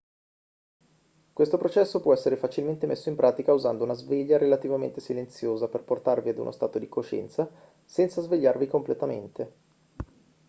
questo processo può essere facilmente messo in pratica usando una sveglia relativamente silenziosa per portarvi ad uno stato di coscienza senza svegliarvi completamente